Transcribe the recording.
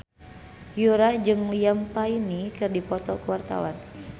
Yura jeung Liam Payne keur dipoto ku wartawan